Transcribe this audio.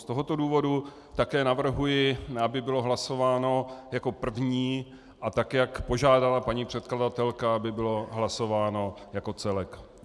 Z tohoto důvodu také navrhuji, aby bylo hlasováno jako první, a tak jak požádala paní předkladatelka, aby bylo hlasováno jako celek.